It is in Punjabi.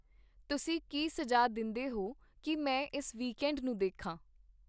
ਤੁਸੀਂ ਕੀ ਸੁਝਾਅ ਦਿੰਦੇਹੋ ਕੀ ਮੈਂ ਇਸ ਵੀਕਐਂਡ ਨੂੰ ਦੇਖਾਂ